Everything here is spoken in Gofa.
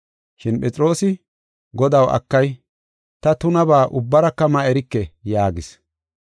Shin Phexroosi, “Godaw, akay! Ta tunabaa ubbaraka ma erike” yaagis.